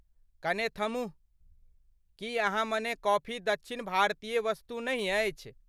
कने थम्हू ! की अहाँ मने कॉफी दक्षिण भारतीय वस्तु नहि अछि?